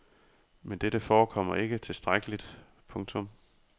Men dette forekommer ikke tilstrækkeligt. punktum